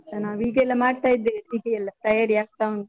ನಾವು ಈಗೆಲ್ಲ ಮಾಡ್ತ ಇದ್ದೇವೆ ಸಿಹಿ ಎಲ್ಲ, ತಯಾರಿ ಆಗ್ತ ಉಂಟು.